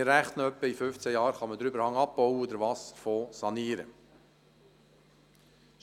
Wir rechnen damit, dass wir den Überhang bis in rund 15 Jahren werden abbauen und den Wasserfonds sanieren können.